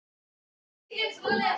Langar þig til þess að hætta þessu?